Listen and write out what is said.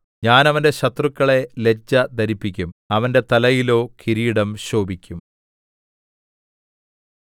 ഞാൻ അവന്റെ ശത്രുക്കളെ ലജ്ജ ധരിപ്പിക്കും അവന്റെ തലയിലോ കിരീടം ശോഭിക്കും